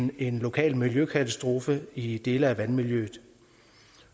en lokal miljøkatastrofe i dele af vandmiljøet